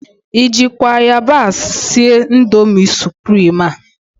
I jịkwa ayabasị sie nudul suprim a?